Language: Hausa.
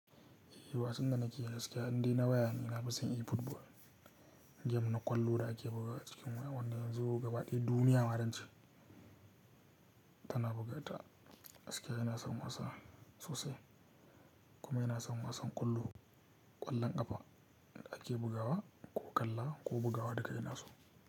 Wasan da nake gaskiya indai na waya ne na fison efootball. Game na ƙwallo da ake bugawa a cikin waya wanda yanzo gaba ɗaya duniya ma zance tana bugata. Gaskiya ina son wasa sosai kuma ina son wasan ƙwallo, ƙwallon ƙafa da ake bugawa ko ƙalla ko bugawa duka ina so.